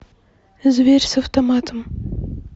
зверь с автоматом